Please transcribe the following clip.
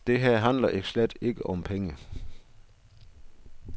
Det her handler slet ikke om penge.